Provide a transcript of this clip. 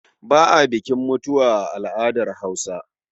Ba a bukin mutuwa a al'adar Hausa.